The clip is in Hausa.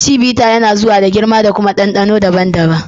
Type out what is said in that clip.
Chivita yana zuwa da girma da kuma ɗanɗano daban-daban.